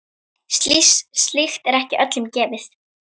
Slíkt er ekki öllum gefið.